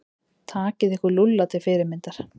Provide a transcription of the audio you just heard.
Takið ykkur Lúlla til fyrirmyndar.